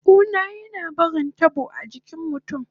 Kuna na barin tabo a jikin mutun